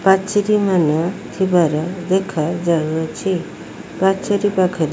ପାଚେରି ମାନେ ଥିବାର ଦେଖାଯାଉଛି ପାଚେରି ପାଖରେ --